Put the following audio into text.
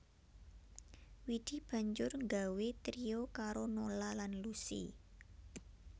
Widi banjur nggawé trio karo Nola lan Lusi